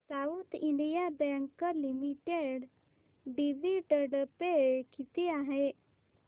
south Indian bank limited dividend pay किती आहे